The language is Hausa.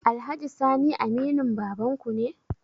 Alhaji sani aminin babanku ne?